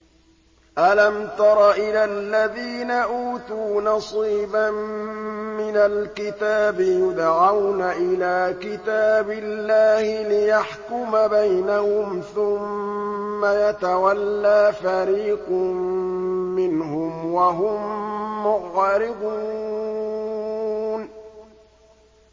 أَلَمْ تَرَ إِلَى الَّذِينَ أُوتُوا نَصِيبًا مِّنَ الْكِتَابِ يُدْعَوْنَ إِلَىٰ كِتَابِ اللَّهِ لِيَحْكُمَ بَيْنَهُمْ ثُمَّ يَتَوَلَّىٰ فَرِيقٌ مِّنْهُمْ وَهُم مُّعْرِضُونَ